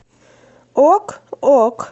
ок ок